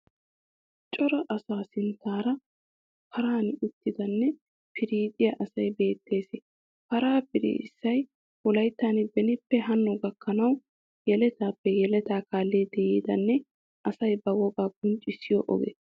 Cora asaa sinttaara paran uttidanne piriixiya asay beettees. Paraa piriissay wolaittan benippe hanno gakkanawu yeletaappe yeletaa kaallidi yiidanne asay ba wogaa qonccissiyo oge.